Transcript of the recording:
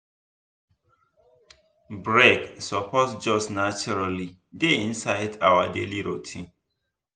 break suppose just naturally dey inside our daily routine.